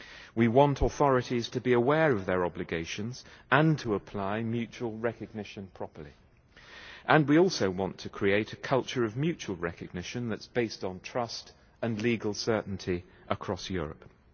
We want authorities to be aware of their obligations and to apply mutual recognition properly, and we also want to create a culture of mutual recognition that's based on trust and legal certainty across Europe.